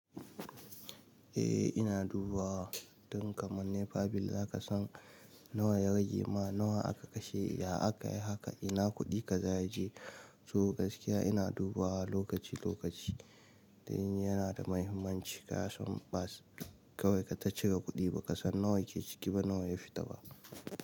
Eh ina dubawa. Don kaman nefa bil za ka san nawa ya rage ma nawa aka kashe. Idan aka yi haka ina kuɗi ka za ya je. So gaskiya ina duba lokaci lokaci in yana da mahimmanci ka san ba sai kawai ka ta cire kudi baka son nawa ke ciki ba nawa ya fita ba.